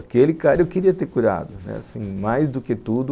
Aquele cara eu queria ter curado, assim, mais do que tudo.